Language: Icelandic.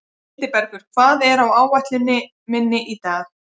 Hildibergur, hvað er á áætluninni minni í dag?